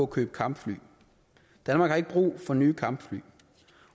købe kampfly danmark har ikke brug for nye kampfly